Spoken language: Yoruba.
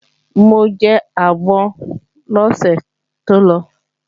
Mo jẹ àgbọn lọ́sẹ̀ tó lọ